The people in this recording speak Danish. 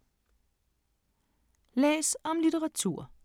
Læs om litteratur